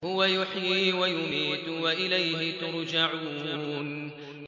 هُوَ يُحْيِي وَيُمِيتُ وَإِلَيْهِ تُرْجَعُونَ